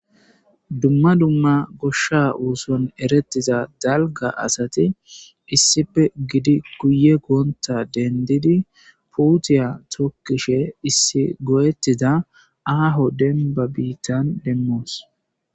Dumma dumma gosha ooson erettiza dalgga asati issipe gidi guye gontta denddidi puutiya tokkishe issi goyettida aaho denbba biittan demmoos.